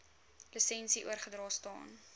lisensie oorgedra staan